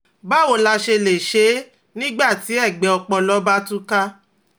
Báwo la ṣe lè ṣe é nígbà tí ẹ̀gbẹ́ ọpọlọ bá tú ká?